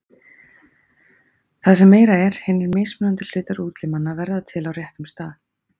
Það sem meira er, hinir mismunandi hlutar útlimanna verða til á réttum stað.